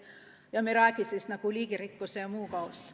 Ja me ei räägigi liigirikkuse ja muu kaost.